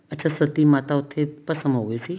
ਅੱਛਾ ਸਤੀ ਮਾਤਾ ਉੱਥੇ ਭਸਮ ਹੋਗੀ ਸੀ